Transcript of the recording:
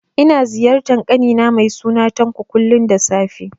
Ina ziyartar ƙani na mai suna Tanko, kullum da safe